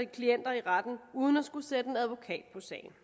klienter i retten uden at skulle sætte en advokat på sagen